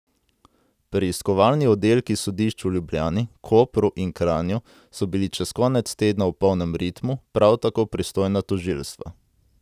Preiskovalni oddelki sodišč v Ljubljani, Kopru in Kranju so bili čez konec tedna v polnem ritmu, prav tako pristojna tožilstva.